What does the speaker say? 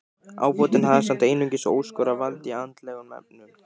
Ábótinn hafði samt einungis óskorað vald í andlegum efnum.